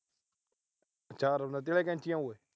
ਆਚਾਰ ਆਲੀਆਂ ਕੈਂਚੀਆਂ ਓਏ।